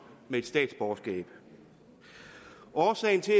med et statsborgerskab årsagen til